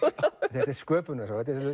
þetta er sköpunarsaga